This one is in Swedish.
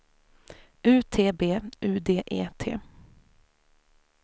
U T B U D E T